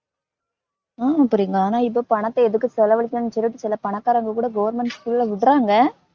ஆமா பிரியங்கா ஆனா இப்ப பணத்தை எதுக்கு செலவழிக்கணும்னு சொல்லிட்டு சில பணக்காரங்க கூட government school ல விடறாங்க